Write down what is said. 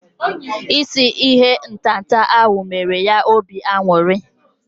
Isi ihe ntata ahu mere ya obi aṅụrị